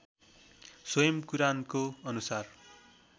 स्वयं कुरानको अनुसार